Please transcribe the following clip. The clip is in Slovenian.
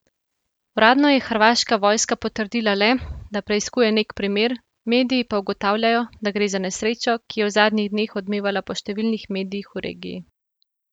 Uradno je hrvaška vojska potrdila le, da preiskuje nek primer, mediji pa ugotavljajo, da gre za nesrečo, ki je v zadnjih dneh odmevala po številnih medijih v regiji.